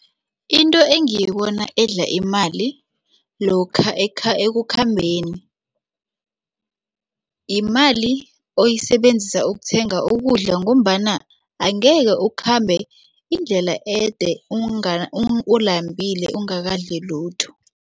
Into engibona edla imali lokha ekukhambeni yimali oyisebenzisa ukuthenga ukudla ngombana angekhe ukhambe indlela ede ulambile ungakadli lutho.